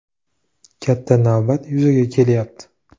Katta navbat yuzaga kelyapti.